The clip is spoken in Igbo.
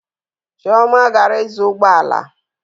Chioma gara ịzụ ụgbọ ala